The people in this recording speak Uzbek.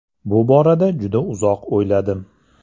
Bu borada juda uzoq o‘yladim.